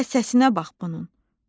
Hələ səsinə bax bunun!